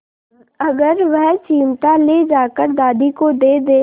अगर वह चिमटा ले जाकर दादी को दे दे